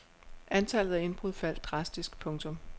Antallet af indbrud faldt drastisk. punktum